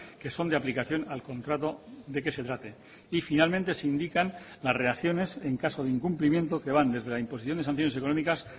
que son de aplicación al contrato de que se trate y finalmente se indican las reacciones en caso de incumplimiento que van desde la imposición de sanciones económicas